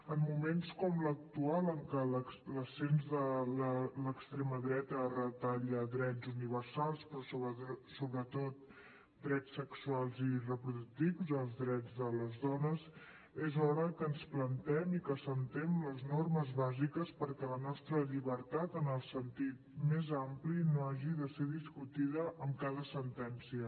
en moments com l’actual en què l’ascens de l’extrema dreta retalla drets universals però sobretot drets sexuals i reproductius els drets de les dones és hora que ens plantem i que assentem les normes bàsiques perquè la nostra llibertat en el sentit més ampli no hagi de ser discutida amb cada sentència